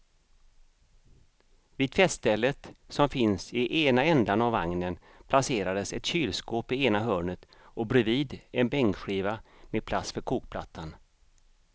Vid tvättstället som finns i ena ändan av vagnen placerades ett kylskåp i ena hörnet och bredvid en bänkskiva med plats för kokplattan.